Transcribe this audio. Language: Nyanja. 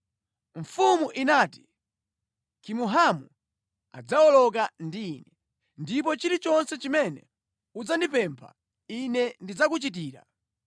Mfumu inati, “Kimuhamu adzawoloka ndi ine, ndipo ndidzamuchitira iye chilichonse chimene chidzakondweretsa iwe. Ndipo chilichonse chimene udzandipempha ine ndidzakuchitira.”